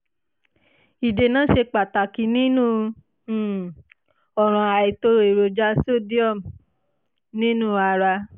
ìdènà ṣe pàtàkì nínú um ọ̀ràn àìtó èròjà sodium nínú ara